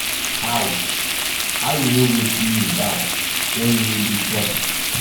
how um how um you no go slim down wen you no dey um chop